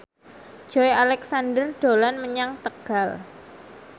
Joey Alexander dolan menyang Tegal